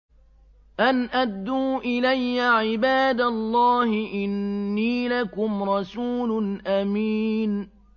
أَنْ أَدُّوا إِلَيَّ عِبَادَ اللَّهِ ۖ إِنِّي لَكُمْ رَسُولٌ أَمِينٌ